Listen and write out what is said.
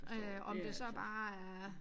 Øh om det så bare er